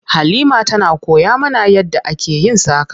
Halima tana koya mana yadda ake yin saƙa.